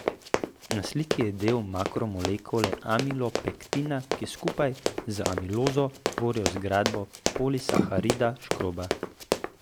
Na sliki je del makromolekule amilopektina, ki skupaj z amilozo tvori zgradbo polisaharida škroba.